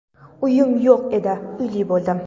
Uyim yo‘q edi, uyli bo‘ldim.